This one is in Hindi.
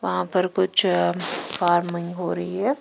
वहां पर कुछ फार्मिंग हो रही है।